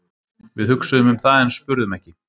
Við hugsuðum um það en spurðum ekki.